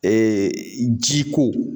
ji ko